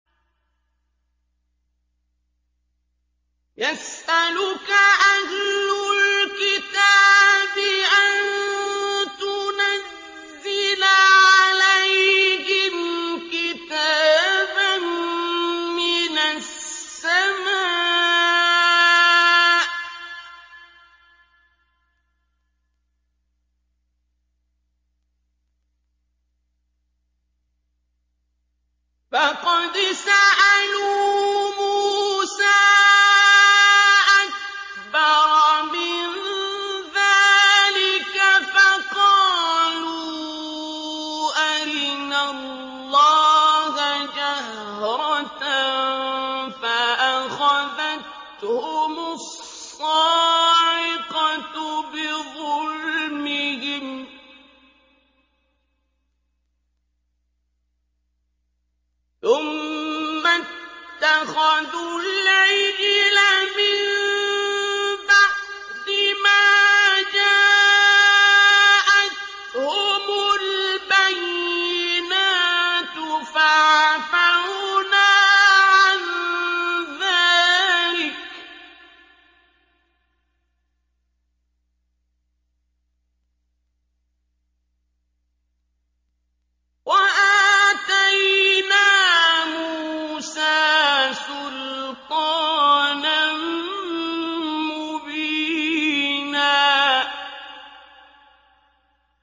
يَسْأَلُكَ أَهْلُ الْكِتَابِ أَن تُنَزِّلَ عَلَيْهِمْ كِتَابًا مِّنَ السَّمَاءِ ۚ فَقَدْ سَأَلُوا مُوسَىٰ أَكْبَرَ مِن ذَٰلِكَ فَقَالُوا أَرِنَا اللَّهَ جَهْرَةً فَأَخَذَتْهُمُ الصَّاعِقَةُ بِظُلْمِهِمْ ۚ ثُمَّ اتَّخَذُوا الْعِجْلَ مِن بَعْدِ مَا جَاءَتْهُمُ الْبَيِّنَاتُ فَعَفَوْنَا عَن ذَٰلِكَ ۚ وَآتَيْنَا مُوسَىٰ سُلْطَانًا مُّبِينًا